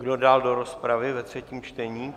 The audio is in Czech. Kdo dál do rozpravy ve třetím čtení?